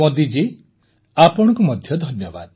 ମୋଦିଜୀ ଆପଣଙ୍କୁ ମଧ୍ୟ ଧନ୍ୟବାଦ